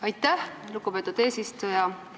Aitäh, lugupeetud eesistuja!